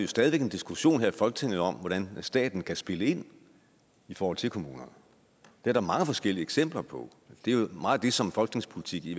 stadig væk en diskussion her i folketinget om hvordan staten kan spille ind i forhold til kommunerne det er der mange forskellige eksempler på det er meget det som folketingspolitik i